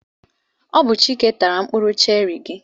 Ọ bụ Chike tara mkpụrụ cherị gị.